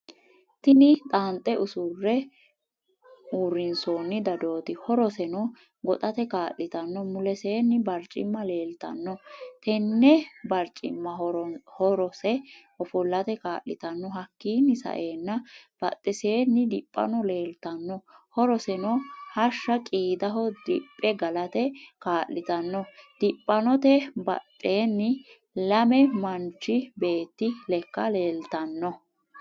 Tini xanxe usuure urinsooni dadooti. horooseeno goxaate kaliitaano. muleseni bariicima leliitano tenene bariciima horoose ofoolaate kaliitaano .hakiino sa'ena baaxeeseeni diphaano leliitano horoseno hashsha qiidaaho diphe galaate kaliitano. diphaanote baxeeni lame manchi beeti lekka leliitano.